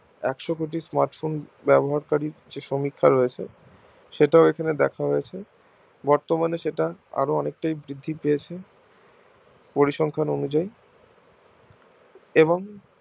একশো কোটি smartphone ব্যবহার কারী সমীক্ষাই রয়েছে সেটাও এখানে ব্যাখ্যা হৈছে বর্তমানে সেটা অনেকটাই বৃদ্ধি পেয়েছে পরিসংখ্যান অনুযায়ী এবং